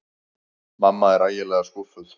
Mamma var ægilega skúffuð.